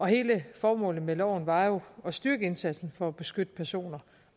hele formålet med loven var jo at styrke indsatsen for at beskytte personer